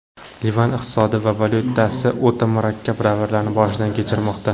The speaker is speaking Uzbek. Livan iqtisodi va valyutasi o‘ta murakkab davrlarni boshidan kechirmoqda.